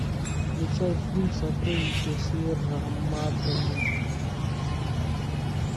включай фильм сокровища сьерра мадре